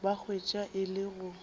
ba hwetša e le go